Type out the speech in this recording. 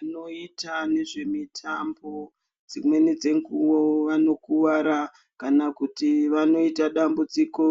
Vanoita nezvemitambo dImweni dzenguwo vanokuwara kana kuti vanoita dambudziko